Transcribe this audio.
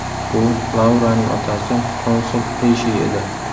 Bu Lauraning otasi, konsul Rishi edi.